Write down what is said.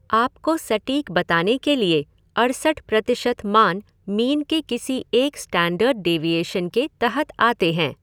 आपको सटीक बताने के लिए अड़सठ प्रतिशत मान मीन के किसी एक स्टैण्डर्ड डेविएशन के तहत आते हैं।